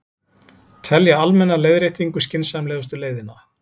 Telja almenna leiðréttingu skynsamlegustu leiðina